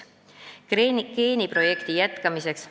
Geeniprojekti jätkamiseks ...